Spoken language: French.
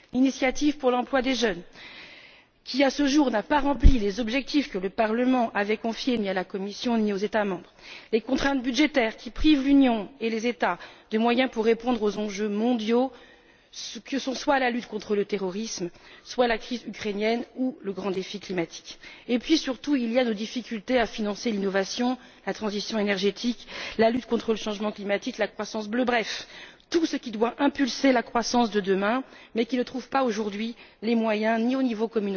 l'initiative pour l'emploi des jeunes, qui à ce jour n'a pas rempli les objectifs que le Parlement avait confiés à la Commission et aux États membres les contraintes budgétaires, qui privent l'Union et les États de moyens pour répondre aux enjeux mondiaux que sont la lutte contre le terrorisme, la crise ukrainienne ou le grand défi climatique. Et, surtout, il y a nos difficultés à financer l'innovation, la transition énergétique, la lutte contre le changement climatique, la croissance bleue. Bref, tout ce qui doit stimuler la croissance de demain mais qui ne trouve pas aujourd'hui les moyens ni au niveau